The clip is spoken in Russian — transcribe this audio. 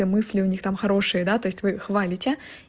мысли у них там хорошие да то есть вы хвалите